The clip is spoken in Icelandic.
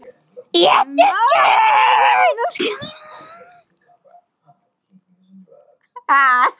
um mat sem búðirnar skilja eftir bakdyramegin eftir lokun og